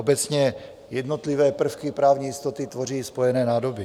Obecně jednotlivé prvky právní jistoty tvoří spojené nádoby.